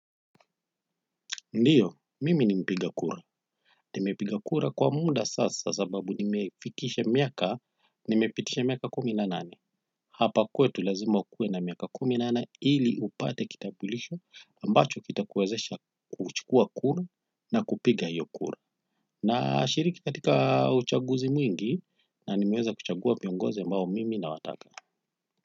Ndiyo, mimi ni mpiga kura. Nimepiga kura kwa muda sasa sababu nimefikisha miaka, nimepitisha miaka kumi na nane. Hapa kwetu lazima ukuwe na miaka kumi na nane ili upate kitambulisho ambacho kitakuwezesha kuchukua kura na kupiga iyo kura. Nashiriki katika uchaguzi mwingi na nimeweza kuchagua viongozi ambao mimi nawataka.